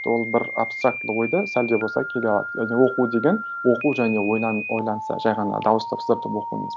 ол бір абстрактылы ойды сәл де болса келе алады және оқу деген оқу және ойлан ойланса жай ғана дауыс дыбыстатып оқу емес